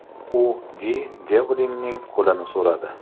U Di Devlinning qo‘lini so‘radi .